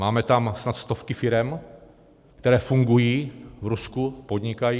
Máme tam snad stovky firem, které fungují, v Rusku podnikají.